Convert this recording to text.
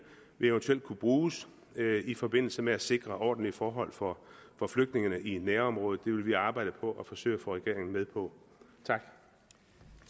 vil eventuelt kunne bruges i forbindelse med at sikre ordentlige forhold for for flygtningene i nærområdet det vil vi arbejde på at forsøge at få regeringen med på